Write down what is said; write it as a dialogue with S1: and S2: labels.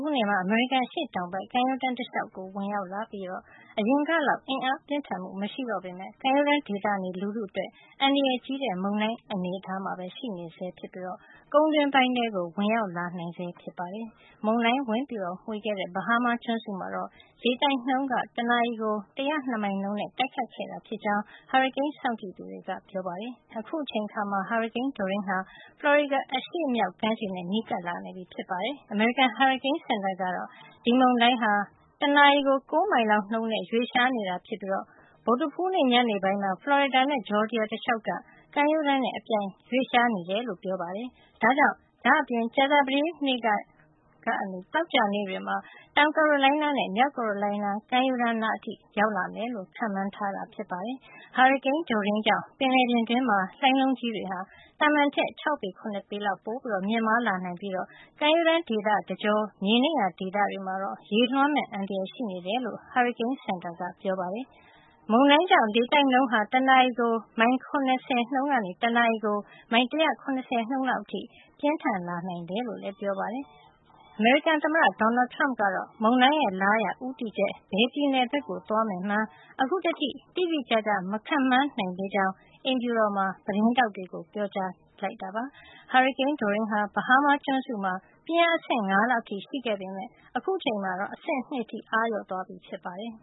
S1: ူးနေ့မှာ အမေရိကန်အရှေ့တောင်ဘက် ကမ်းရိုးတန်းတလျှောက် ဝင်ရောက်လာပြီး အရင်ကလောက် အင်အားပြင်းထန်မှု မရှိတော့ပေမယ့် ကမ်းရိုးတန်းဒေသနေလူထုအတွက် အန္တရာယ် ကြီးတဲ့ မုန်တိုင်း အနေအထားမှာ ရှိနေဆဲ ဖြစ်ပြီး ကုန်းတွင်းပိုင်းထဲ ဝင်ရောက်လာနိုင်ဆဲဖြစ်ပါတယ်။ မုန်တိုင်းဝင်မွှေခဲ့တဲ့ ဘဟားမားကျွန်းစုမှာတော့ လေတိုင်းနှုန်းက တနာရီကို ၁၀၂ မိုင်နှုန်းနဲ့ တိုက်ခတ်ခဲ့တာ ဖြစ်ကြောင်း ဟာရီကိန်း စောင့်ကြည့်သူတွေက ပြောပါတယ်။ အခုအချိန်မှာ ဟာရီကိန်း Dorian ဟာ ဖလော်ရီဒါ အရှေ့မြောက် ကမ်းခြေနဲ့ နီးကပ်လာနေပြီ ဖြစ်ပါတယ်။ အမေရိကန် ဟာရီကိန်းစင်တာကတော့ ဒီမုန်တိုင်းဟာ တနာရီကို ၉ မိုင်နှုန်းလောက်နဲ့ ရွှေ့လျားနေတာဖြစ်ပြီး ဗုဒ္ဓဟူးနေ့ ညပိုင်းမှာ ဖလော်ရီဒါနဲ့ ဂျော်ဂျီယာ တလျှောက်က ကမ်းရိုးတန်းနဲ့ အပြိုင်ရွေ့လျားနေကြောင်း ပြောပါတယ်။ ဒါ့အပြင် ကြာသပတေးကနေ သောကြာ နေ့တွေ မှာ တောင်ကာရိုလိုင်းနားနဲ့ မြောက်ကာရိုလိုင်းနား ကမ်းရိုးတန်းနား အထိ ရောက်လာမယ်လို့ ခန့်မှန်းထားပါတယ်။ ဟာရီကိန်း Dorian ကြောင့် ပင်လယ်ပြင်တွင်းမှာ လှိုင်းလုံးကြီးတွေဟာ သာမန်ထက် ၆ ပေ ၇ ပေလောက် ပိုမြင့်မားလာနိုင်ပြီး ကမ်းရိုးတန်း ဒေသတကြောမြေနိမ့်ရာ ဒေသတွေမှာ ရေလွှမ်းမယ့် အန္တရာယ်ရှိနေတယ်လို့လည်း ဟာရီကိန်းစင်တာက ပြောပါတယ်။ မုန်တိုင်းကြောင့် လေတိုက်နှုန်းဟာ တနာရီကို မိုင် ၇၀ နှုန်းကနေ တနာရီကို မိုင် ၁၇၀ နှုန်းလောက်အထိ ပြင်းထန်နိုင်တယ်လို့လည်း ပြောပါတယ်။ သမ္မတ Donald Trump ကတော့ မုန်တိုင်းရဲ့ လားရာ ဦးတည်ချက် ဘယ်ပြည်နယ်ဘက်ကို သွားမယ်မှန်း အခုထိ တိတိကျကျ မခန့်မှန်းနိုင်သေးကြောင်း အိမ်ဖြူတော်မှာ သတင်းထောက်တွေ ကို ပြောပါတယ်။ ဟာရီကိန်း Dorian ဟာ ဘဟားမားကျွန်းစုမှာ ပြင်းအား အဆင့် ၅ လောက်အထိ ရှိခဲ့ပေမယ့် အခုအချိန်မှာ အဆင့် ၂ အထိ အားလျော့သွားပြီဖြစ်ပါတယ်